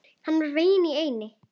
Hann var veginn í eynni.